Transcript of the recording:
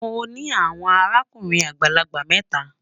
Mọ ní awọn àràkùnrin agbalagbà méta.